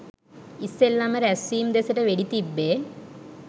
ඉස්සෙල්ලම රැස්වීම දෙසට වෙඩි තිබ්බේ.